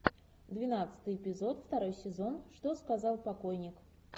двенадцатый эпизод второй сезон что сказал покойник